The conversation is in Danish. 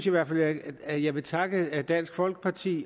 i hvert fald at jeg vil takke dansk folkeparti